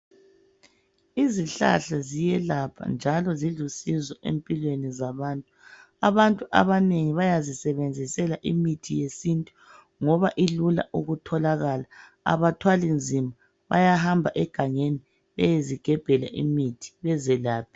Izihlahla ziyelapha njalo zilusizo empilweni zabantu, abantu abanengi bayazisebenzisela imithi yesintu ngoba ilula ukutholakala. Abathwali nzima bayahamba egangeni beyezigebhela imithi bezelaphe.